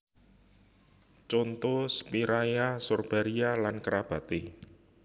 Conto Spiraea Sorbaria lan kerabaté